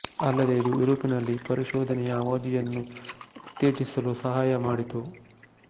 ಅಲ್ಲದೇ ಇದು ಯುರೋಪಿನಲ್ಲಿ ಪರಿಶೋಧನೆಯ ಅವಧಿ ಯನ್ನು ಉತ್ತೇಜಿಸಲು ಸಹಾಯಮಾಡಿತು